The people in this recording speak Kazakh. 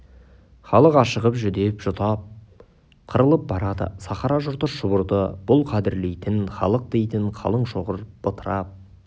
халық ашығып жүдеп жұтап қырылып барады сахара жұрты шұбырды бұл қадірлейтін халық дейтін қалың шоғыр бытырап